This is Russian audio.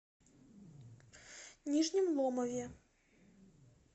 нижнем ломове